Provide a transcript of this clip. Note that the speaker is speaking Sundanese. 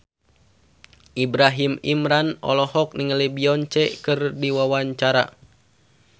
Ibrahim Imran olohok ningali Beyonce keur diwawancara